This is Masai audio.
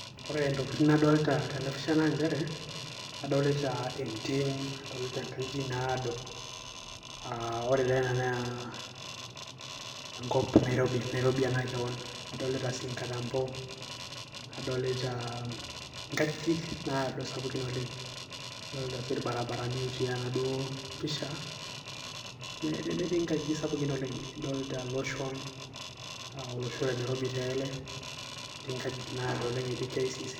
ore intokitin nadolta tenapisha naa inchere adolita entim, adolita inkajijik naado uh ore taa ena naa enkop nairobi, nairobi ena kewon adolita sii inkatambo adolita inkajijik naado sapukin oleng adolita sii irbarabarani otii enaduo pisha netii inkajijik sapukin oleng adolta iloshon uh, olosho le nairobi taa ele etii inkajijik naado oleng etii KICC.